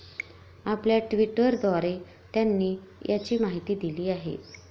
आपल्या ट्विटरद्वारे त्यांनी याची माहिती दिली आहे.